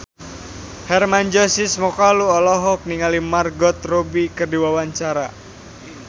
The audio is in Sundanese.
Hermann Josis Mokalu olohok ningali Margot Robbie keur diwawancara